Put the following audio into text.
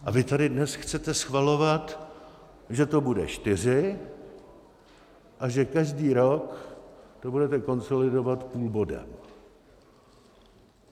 A vy tady dnes chcete schvalovat, že to bude čtyři a že každý rok to budete konsolidovat půl bodem.